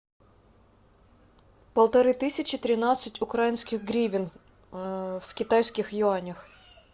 полторы тысячи тринадцать украинских гривен в китайских юанях